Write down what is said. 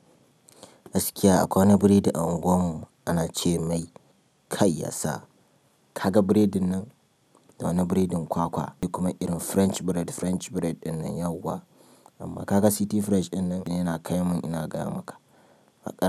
Gaskiya akwai wani biredi a unguwarmu ana ce mai kai yasa. Ka ga biredin nan, wani biredin kwakwa kuma irin French bread, French bread ɗinnan yauwa, amma ka ga City Fresh ɗinnan yana kai mun ina gaya maka.